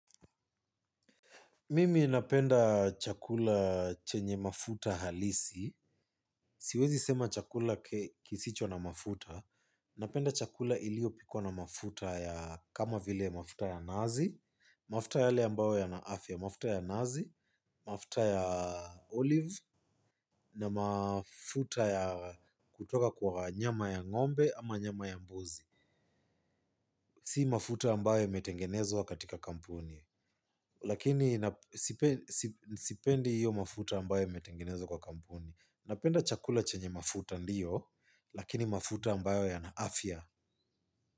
Mimi napenda chakula chenye mafuta halisi. Siwezi sema chakula kisicho na mafuta. Napenda chakula iliyo pikwa na mafuta ya kama vile mafuta ya nazi, mafuta yale ambayo ya na afya, mafuta ya nazi, mafuta ya olive na mafuta ya kutoka kwa nyama ya ngombe ama nyama ya mbuzi. Si mafuta ambayo imetengenezwa katika kampuni. Lakini sipendi iyo mafuta ambayo imetengenezwa kwa kampuni. Napenda chakula chenye mafuta ndiyo. Lakini mafuta ambayo yana afya.